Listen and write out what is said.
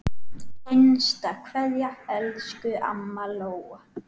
HINSTA KVEÐJA Elsku amma Lóa.